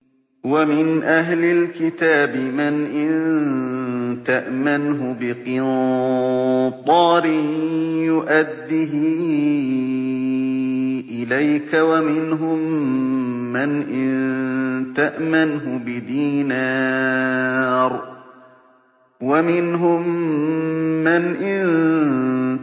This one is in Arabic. ۞ وَمِنْ أَهْلِ الْكِتَابِ مَنْ إِن تَأْمَنْهُ بِقِنطَارٍ يُؤَدِّهِ إِلَيْكَ وَمِنْهُم مَّنْ إِن